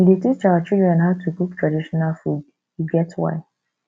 we dey teach our children how to cook traditional food e get why